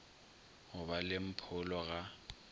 go ba le mpholo ga